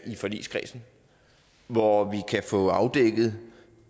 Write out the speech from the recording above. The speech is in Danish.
i forligskredsen hvor vi kan få afdækket